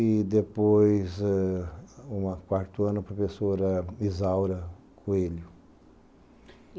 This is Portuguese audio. E depois ãh, no quarto ano, professora Isaura Coelho.